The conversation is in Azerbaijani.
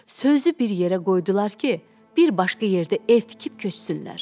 Sözü bir yerə qoydular ki, bir başqa yerdə ev tikib köçsünlər.